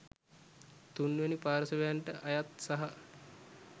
තුන්වැනි පාර්ශවයන්ට අයත් සහ